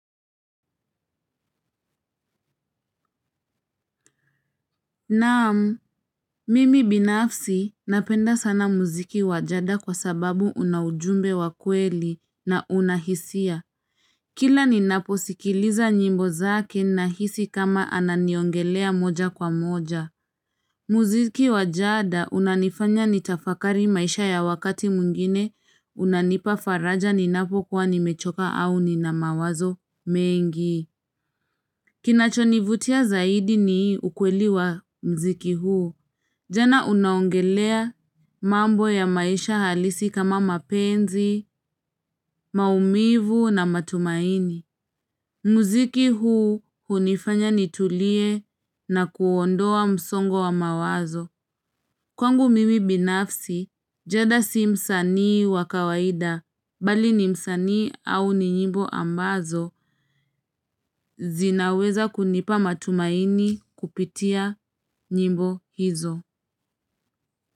Naam, mimi binafsi napenda sana muziki wa jada kwa sababu unaujumbe wakweli na unahisia. Kila ninapo sikiliza nyimbo zake nahisi kama ananiongelea moja kwa moja. Muziki wajada unanifanya nitafakari maisha ya wakati mwingine, unanipa faraja ninapo kuwa nimechoka au ni na mawazo mengi. Kinacho nivutia zaidi ni ukweli wa mziki huu. Jana unaongelea mambo ya maisha halisi kama mapenzi, maumivu na matumaini. Muziki huu hunifanya nitulie na kuondoa msongo wa mawazo. Kwangu mimi binafsi, jada si msanii wakawaida, bali ni msanii au ni nyimbo ambazo, zinaweza kunipa matumaini kupitia nyimbo hizo.